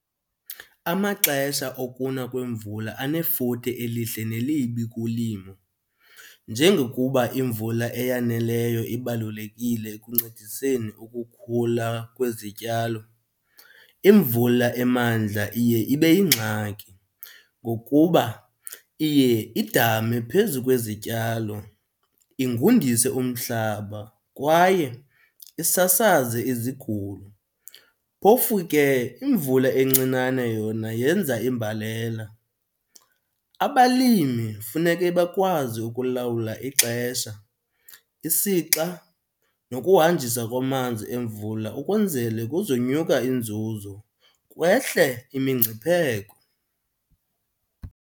Amaxesha okuna kwemvula anefuthe elihle nelibi kulimo. Njengokuba imvula eyaneleyo ibalulekile ekuncediseni ukukhula kwezityalo imvula emandla iye ibe yingxaki ngokuba iye idame phezu kwezityalo, ingundise umhlaba kwaye isasaze izigulo. Phofu ke imvula encinane yona yenza imbalela. Abalimi funeke bakwazi ukulawula ixesha, isixa nokuhanjiswa kwamanzi emvula ukwenzele kuzonyuka inzuzo kwehle imingcipheko.